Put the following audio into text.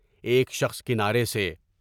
ایک شخص کنارے سے